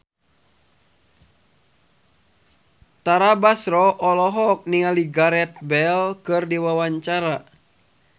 Tara Basro olohok ningali Gareth Bale keur diwawancara